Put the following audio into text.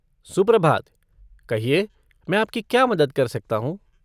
सुप्रभात, कहिए मैं आपकी क्या मदद कर सकता हूँ?